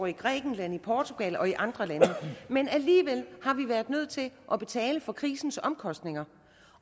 i grækenland portugal og andre lande men alligevel har vi været nødt til at betale for krisens omkostninger